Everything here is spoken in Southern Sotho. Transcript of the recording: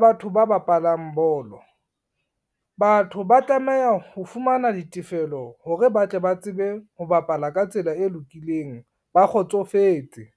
batho ba bapalang bolo, batho ba tlameha ho fumana ditefelo hore ba tle ba tsebe ho bapala ka tsela e lokileng, ba kgotsofetse.